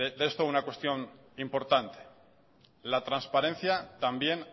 de esto una cuestión importante la transparencia también